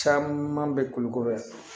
Caman bɛ kulukoro yan